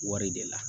Wari de la